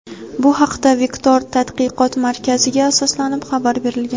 Bu haqda "Vektor" tadqiqot markaziga asoslanib xabar berilgan.